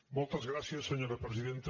moltes gràcies senyora presidenta